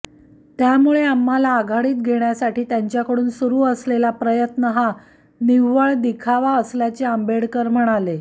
त्यामुळे आम्हाला आघाडीत घेण्यासाठी त्यांच्याकडून सुरू असलेला प्रयत्न हा निव्वळ दिखावा असल्याचे आंबेडकर म्हणाले